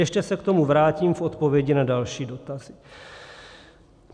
Ještě se k tomu vrátím v odpovědi na další dotazy.